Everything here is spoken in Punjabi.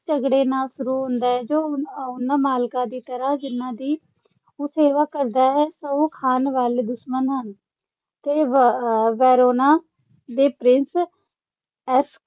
ਝਗੜੇ ਨਾਲ ਸ਼ੁਰੂ ਹੁੰਦਾ ਹੈ, ਜੋ ਉਹ ਅਹ ਉਹਨਾਂ ਮਾਲਕਾਂ ਦੀ ਤਰ੍ਹਾਂ, ਜਿਹਨਾਂ ਦੀ ਉਹ ਸੇਵਾ ਕਰਦਾ ਹੈ, ਸਹੁੰ ਖਾਣ ਵਾਲੇ ਦੁਸ਼ਮਣ ਹਨ ਤੇ ਵ ਅਹ ਵੇਰੋਨਾ ਦੇ ਪ੍ਰਿੰਸ ਐਸ